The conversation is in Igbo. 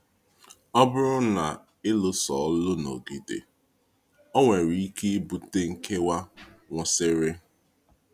Ọ bụrụ na ịlụ̀sọ̀lụ̀ nọgide, ọ nwere ike ibute nkewa kwụ̀sịrị.